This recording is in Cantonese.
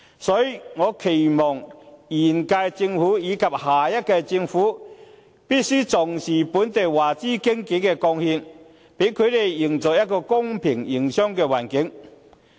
所以，我期望現屆政府，以及下屆政府必須重視本地華資經紀的貢獻，給他們營造一個公平的營商環境。